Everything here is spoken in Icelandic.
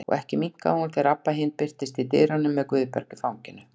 Og ekki minnkaði hún þegar Abba hin birtist í dyrunum með Guðberg í fanginu.